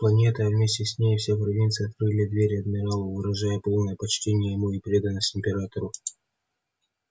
планета а вместе с ней и вся провинция открыли двери адмиралу выражая полное почтение ему и преданность императору